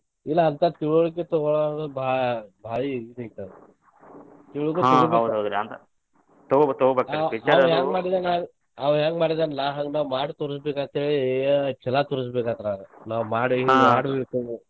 ಇಲ್ಲಾ ಅಂತಾ ತಿಳುವಳ್ಕೆ ತುಗೋವರಿಗ ಭಾ~ ಭಾರಿ ಇದ ಐತಿ ಅದ್ ಆಂವ ಹೆಂಗ ಮಾಡಿದಾನಲಾ ಹಂಗ್ ಮಾಡಿ ತೋರಸಬೇಕ್ ಅಂತ ಹೇಳಿ ನಾವ ಮಾಡಿ ಮಾಡಿ.